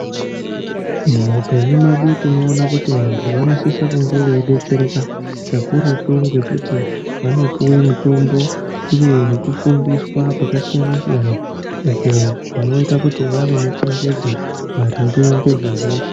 Muupenyu medu tinoona kuti vantu vanosise kunge veidetsereka kakurutu ngekuti vanopuwe mutombo uye nekufundiswa kwakasiyana siyana uko kunoita kuti vave nechenjedzo maringe ngezvehosha.